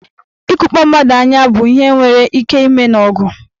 Ịkụkpọ mmadụ anya bụ ihe nwere ike ime n'ọgụ.